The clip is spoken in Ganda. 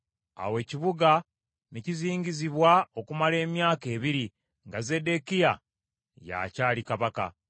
Awo ekibuga ne kizingizibwa okumala emyaka ebiri nga Zeddekiya y’akyali kabaka.